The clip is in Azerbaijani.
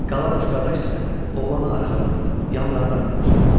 Qalan üç qardaş isə oğlanı arxadan, yanlardan gözləyirdi.